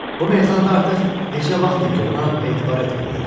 Bu meyxanada artıq neçə vaxtdır ki, ona etibar etmirlər.